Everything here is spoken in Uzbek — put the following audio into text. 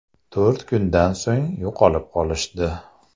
To‘rt kundan so‘ng yo‘qolib qolishdi.